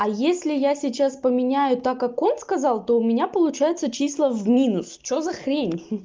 а если я сейчас поменяю так как он сказал то у меня получается числа в минус что за хрень